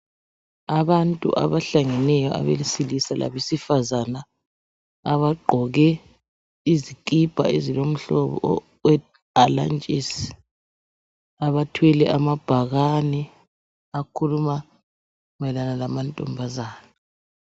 Abantu abahlangeneyo, abesilisa labesifazana, abagqoke izikipa ezilomhlobo wehalantshisi, abathwele amabhakane akhuluma mayelana lamantombazana.